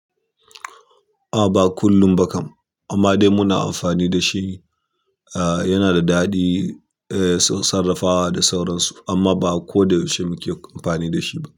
Amma ba kullum ba kam amma dai muna amfani dashi. A yana da daɗi eh su sarrafawa da sauransu amma ba ko da yaushe muke amfani da shi ba.